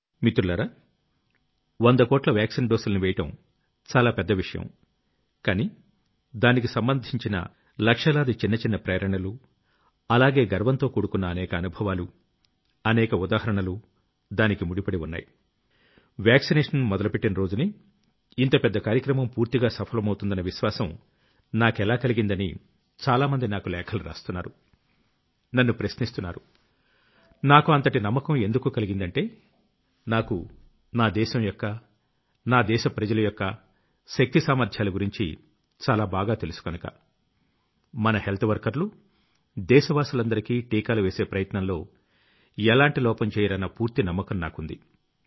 మిత్రులారా వంద కోట్ల వాక్సీన్ డోసుల్ని వేయడం చాలా పెద్ద విషయం కానీ దానికి సంబంధించిన లక్షలాది చిన్న చిన్న ప్రేరణలు అలాగే గర్వంతో కూడుకున్న అనేక అనుభవాలు అనేక ఉదాహరణలు దానికి ముడిపడి ఉన్నాయి | వాక్సినేషన్ మొదలుపెట్టిన రోజునే ఇంత పెద్ద కార్యక్రమం పూర్తిగా సఫలమవుతుందన్న విశ్వాసం నాకెలా కలిగిందని చాలామంది నాకు లేఖలు రాస్తున్నారు నన్ను ప్రశ్నిస్తున్నారు | నాకు అంతటి నమ్మకం ఎందుకు కలిగిందంటే నాకు నా దేశంయొక్క నా దేశ ప్రజలయొక్క శక్తి సామర్ధ్యాల గురించి చాలా బాగా తెలుసు కనుక | మన హెల్త్ వర్కర్లు దేశవాసులందరికీ టీకాలు వేసే ప్రయత్నంలో ఎలాంటి లోపం చెయ్యరన్న పూర్తి నమ్మకం నాకుంది